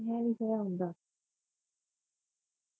ਨਹੀਂ ਸਹਿ ਹੁੰਦਾ